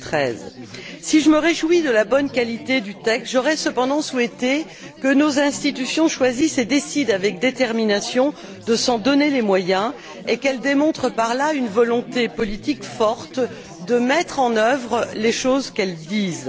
2013. Si je me réjouis de la bonne qualité du texte, j'aurais cependant souhaité que nos institutions choisissent et décident avec détermination de se donner les moyens de leurs objectifs et qu'elles démontrent par là une volonté politique forte de mettre en œuvre ce qu'elles disent.